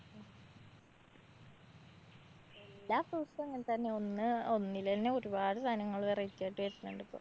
എല്ലാ fruits ഉം അങ്ങനെതന്നാ. ഒന്ന് ഒന്നിലൊന്ന് ഒരുപാട് സാനങ്ങള് variety ആയിട്ട് വരുന്നുണ്ട് ഇപ്പോ.